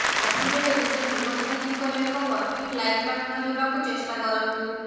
ସବୁବେଳେ ନିଜ ଜୀବନ ସାଥିଙ୍କର ଏକ ପରଫେକ୍ଟ ଲାଇଫ୍ ପାର୍ଟନର ହେବାକୁ ଚେଷ୍ଟା କରନ୍ତୁ